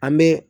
An bɛ